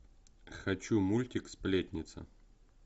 хочу мультик сплетница